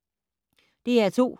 DR2